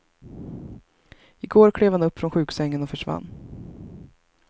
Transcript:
I går klev han upp från sjuksängen och försvann.